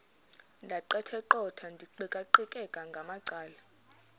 ndaqetheqotha ndiqikaqikeka ngamacala